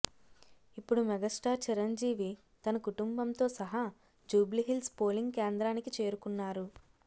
ఇప్పుడు మెగాస్టార్ చిరంజీవి తన కుటుంబంతో సహా జూబ్లిహిల్స్ పోలింగ్ కేంద్రానికి చేరుకున్నారు